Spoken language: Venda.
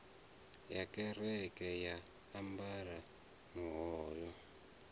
ya kereke a ambara muhoyo